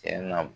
Cɛn na